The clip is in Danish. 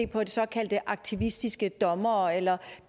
på de såkaldte aktivistiske dommere eller